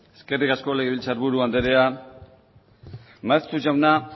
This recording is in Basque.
eskerrik asko legebiltzar buru andrea maeztu jauna